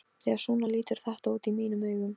Því að svona lítur þetta út í mínum augum.